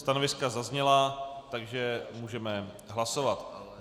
Stanoviska zazněla, takže můžeme hlasovat.